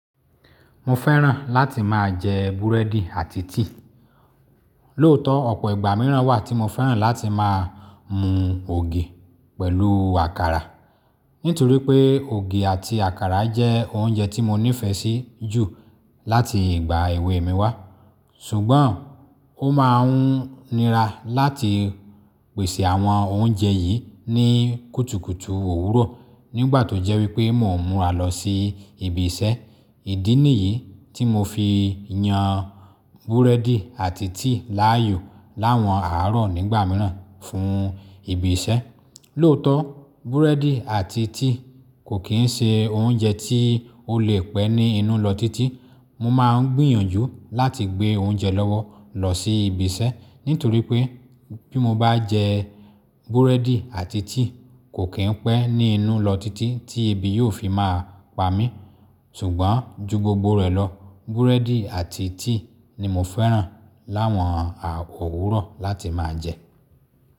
Mo fẹ́ràn láti máa jẹ búrẹ́dì àti tíì. Lóòótọ́ ọ̀pọ̀ ìgbà mìíràn wà tí mo fẹ́ràn láti máa mu ògì pẹ̀lú àkàrà. Nítorí pé ògì àti àkàrà jẹ́ oúnjẹ tí mo nífẹ̀ẹ́ sí jù láti ìgbà èwe mi wá. Ṣùgbọ́n ó máa ń nira láti pèsè àwọn oúnjẹ yìí ní kùtùkùtù òwúrọ̀ nígbà tó jẹ́ wípé mò ń múra lọ sí ibi iṣẹ́. Ìdí nìyí tí mo fi yan búrẹ́dì àti tíì láàyò láwọn àárọ̀ nígbà mìíràn fún ibi iṣẹ́. Lóòótọ́ búrẹ́dì àti tíì kò kí ń ṣe oúnjẹ tí ó lè pẹ́ ní inú lọ títí. Mo máa ń gbìyànjú láti gbé oúnjẹ lọ́wọ́ lọ sí ibi iṣẹ́ nítorí pé bí mo bá jẹ búrẹ́dì àti tíì kò kí ń pẹ́ ní inú lọ títí tí ibi yóò fi máa pa mí. Ṣùgbọ́n ju gbogbo rẹ̀ lọ búrẹ́dì àti tíì ni mo fẹ́ràn láwọn òwúrọ̀ láti máa jẹ.